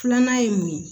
Filanan ye mun ye